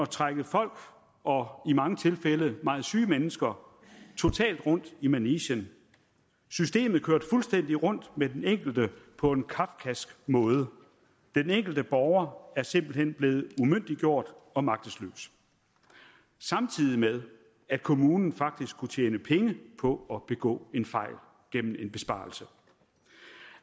trække folk og i mange tilfælde meget syge mennesker totalt rundt i manegen systemet kørte fuldstændig rundt med den enkelte på en kafkask måde den enkelte borger blev simpelt hen umyndiggjort og magtesløs samtidig med at kommunen faktisk kunne tjene penge på at begå en fejl gennem en besparelse